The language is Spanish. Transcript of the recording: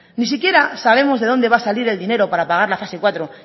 ni siquiera sabemos de dónde va a salir el dinero para pagar la fase cuatro